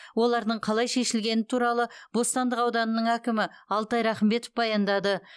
олардың қалай шешілгені туралы бостандық ауданының әкімі алтай рахымбетов баяндады